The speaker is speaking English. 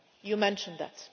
You mentioned that.